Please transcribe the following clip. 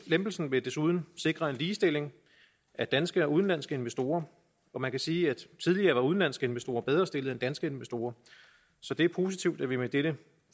lempelsen vil desuden sikre en ligestilling af danske og udenlandske investorer man kan sige at tidligere var udenlandske investorer bedre stillet end danske investorer så det er positivt at vi med dette